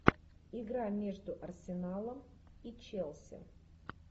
игра между арсеналом и челси